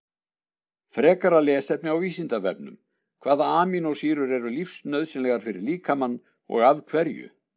Frekara lesefni á Vísindavefnum: Hvaða amínósýrur eru lífsnauðsynlegar fyrir líkamann og af hverju?